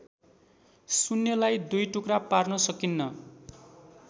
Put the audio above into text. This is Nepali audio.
शून्यलाई दुई टुक्रापार्न सकिन्न